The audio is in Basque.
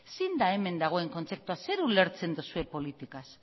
zein da hemen dagoen kontzeptua zer ulertzen duzue politikaz